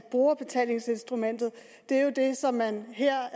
brugerbetalingsinstrumentet er jo det som man her